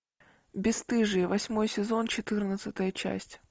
бесстыжие восьмой сезон четырнадцатая часть